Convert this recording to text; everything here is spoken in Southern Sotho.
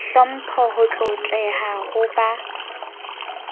hlompho ho tlotleha ho ba